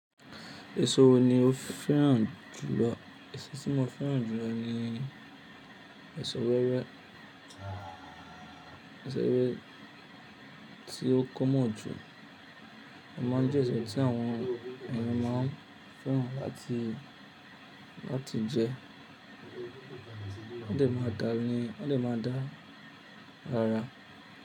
Èso wo ni o fẹ́ràn jùlọ? Èso tí mo fẹ́ràn jùlọ ni èso wẹ́wẹ́. Èso wẹ́wẹ́ tí ó common jù, o máa ń jẹ́ èso tí àwọn ènìyàn máa ń fẹ́ràn láti, láti jẹ. Ó dẹ̀ máa da ni, ó dẹ̀ máa da ara.